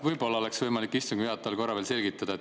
Võib-olla oleks istungi juhatajal võimalik korra veel selgitada.